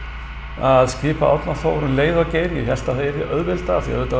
að skipa Árna Þór um leið og Geir ég hélt að það yrði auðveldara af því að auðvitað var